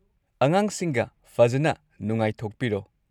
ꯑꯉꯥꯡꯁꯤꯡꯒ ꯐꯖꯟꯅ ꯅꯨꯡꯉꯥꯏꯊꯣꯛꯄꯤꯔꯣ꯫